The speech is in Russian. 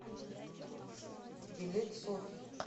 билет софи